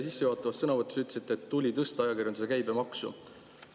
Te sissejuhatavas sõnavõtus ütlesite, et tuli tõsta ajakirjanduse käibemaksu.